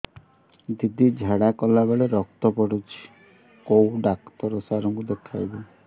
ଦିଦି ଝାଡ଼ା କଲା ବେଳେ ରକ୍ତ ପଡୁଛି କଉଁ ଡକ୍ଟର ସାର କୁ ଦଖାଇବି